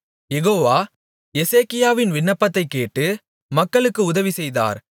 யெகோவா எசேக்கியாவின் விண்ணப்பத்தைக்கேட்டு மக்களுக்கு உதவி செய்தார்